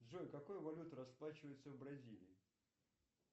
джой какой валютой расплачиваются в бразилии